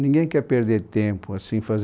Ninguém quer perder tempo, assim fazer